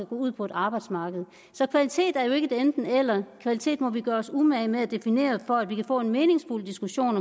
ud på et arbejdsmarked så kvalitet er ikke et enten eller kvalitet må vi gøre os umage med at definere for at vi kan få en meningsfuld diskussion